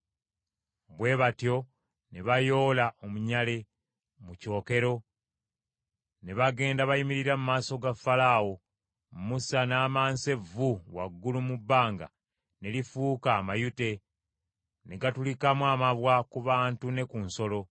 Bwe batyo ne bayoola omunyale mu kyokero, ne bagenda bayimirira mu maaso ga Falaawo. Musa n’amansa evvu waggulu mu bbanga, ne lifuuka amayute, ne gatulikamu amabwa ku bantu ne ku nsolo.